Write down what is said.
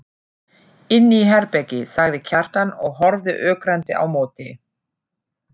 Inni í herbergi, sagði Kjartan og horfði ögrandi á móti.